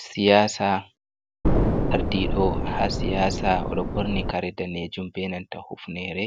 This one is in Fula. Siyasa, ardiɗo ha siyasa oɗo ɓorni kare danejum, benanta hufnere,